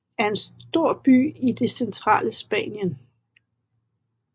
er en stor by i det centrale Spanien